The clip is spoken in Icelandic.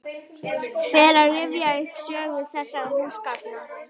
Fer að rifja upp sögu þessara húsgagna.